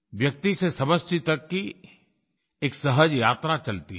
व्यक्ति से समष्टि तक की एक सहज यात्रा चलती है